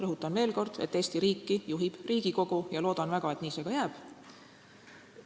Rõhutan veel kord, et Eesti riiki juhib Riigikogu, ja loodan väga, et nii see ka jääb.